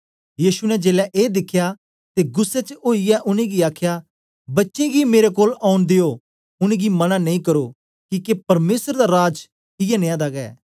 यीशु ने जेलै ए दिखया ते गुस्सै च ओईयै उनेंगी आखया बच्चे गी मेरे कोल औन दियो उनेंगी मना नेई करो किके परमेसर दा राज इयै नियां दा गै